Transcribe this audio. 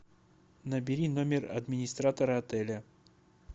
набери номер администратора отеля